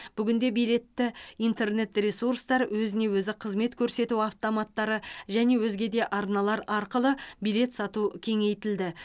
бүгінде билетті интернет ресурстар өзіне өзі қызмет көрсету автоматтары және өзге де арналар арқылы билет сату кеңейтілді